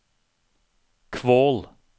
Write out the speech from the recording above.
Kvål